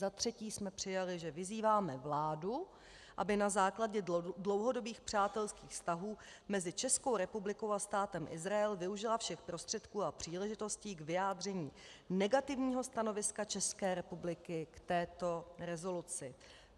Za třetí jsme přijali, že vyzýváme vládu, aby na základě dlouhodobých přátelských vztahů mezi Českou republikou a Státem Izrael využila všech prostředků a příležitostí k vyjádření negativního stanoviska České republiky k této rezoluci.